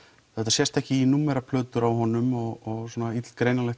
sést ekki í númeraplötur á honum og svona